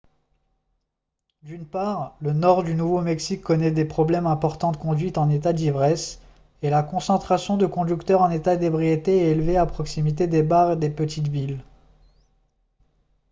d'une part le nord du nouveau-mexique connaît des problèmes importants de conduite en état d'ivresse et la concentration de conducteurs en état d'ébriété est élevée à proximité des bars des petites villes